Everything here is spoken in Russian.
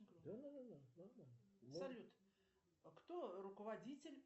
салют кто руководитель